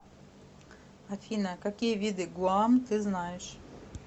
афина какие виды гуам ты знаешь